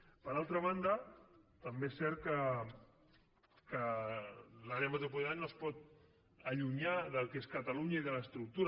per altra banda també és cert que l’àrea metropolitana no es pot allunyar del que és catalunya i de l’estructura